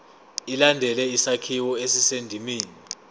ilandele isakhiwo esisendimeni